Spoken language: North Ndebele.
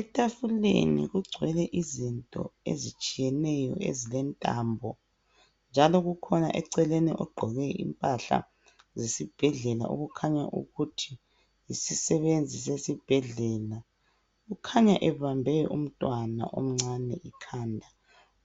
Etafuleni kugcwele izinto ezitshiyeneyo ezilentambo. Njalo kukhona eceleni ogqoke impahla zesibhedlela okhanya ukuthi yisisebenzi sesibhedlela. Ukhanya ebambe umntwana omncane ikhanda,